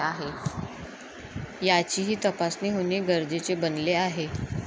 याचीही तपासणी होणे गरजेचे बनले आहे.